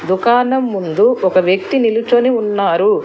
దుకాణం ముందు ఒక వ్యక్తి నిలుచొని ఉన్నారు.